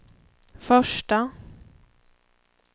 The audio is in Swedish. första